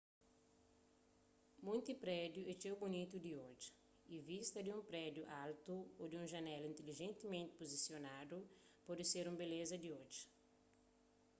munti prédiu é txeu bunitu di odja y vista di un prédiu altu ô di un janela intilijentimenti puzisionadu pode ser un beleza di odja